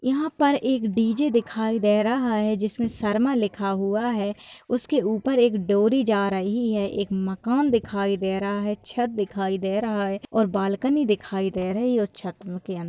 यहाँ पर एक डी_जे दिखाई दे रहा है जिसमे शर्मा लिखा हुआ है उसके ऊपर एक डोरी जा रही है एक मकान दिखाई दे रहा है छत दिखाई दे रहा हैऔर बालकनी दिखाई दे रही है छत के अन--